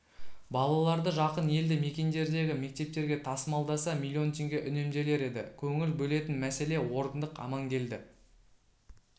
балаларды жақын елді мекендердегі мектептерге тасымалдаса миллион теңге үнемделер еді көңіл бөлетін мәселе орындық амангелді